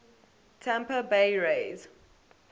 tampa bay rays